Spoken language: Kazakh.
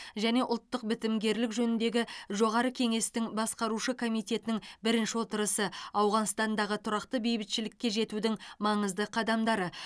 және ұлттық бітімгерлік жөніндегі жоғары кеңестің басқарушы комитетінің бірінші отырысы ауғанстандағы тұрақты бейбітшілікке жетудің маңызды қадамдары